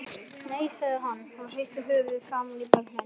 Nei, sagði hann og hristi höfuðið framan í börnin.